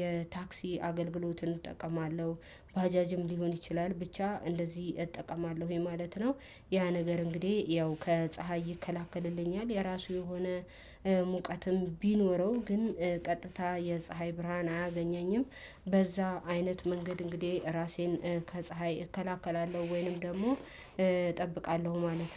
የታክሲ አገልግሎትን እጠቀማለሁ ባጃጅም ሊሆን ይችላል ብቻ እንደዚህ እጠቀማለሁ ይሄ ማለት ነው። ያ ነገር እንግዲህ ያው ከፀሀይ ይከላከልልኛል የራሱ የሆነ ሙቀትም ቢኖረው ግን ቀጥታ የፀሀይ ብርሃን አያገኘኝም። በዛ አይነት መንገድ እንግዲህ ራሴን ከፀሀይ እከላከላለሁ ወይንም ደግሞ እጠብቃለሁ ማለት ነው